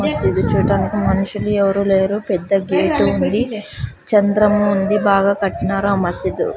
మసీదు చూడానికి మనుషులు ఎవరూ లేరు పెద్ద గేటు ఉంది చంద్రముంది బాగా కట్టినారు ఆ మసీదు .